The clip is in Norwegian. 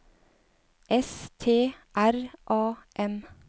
S T R A M